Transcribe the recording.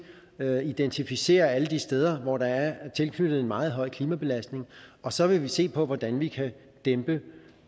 at identificere alle de steder hvor der er tilknyttet en meget høj klimabelastning og så vil vi se på hvordan vi kan dæmpe